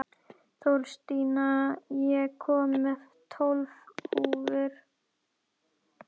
Þórstína, ég kom með tólf húfur!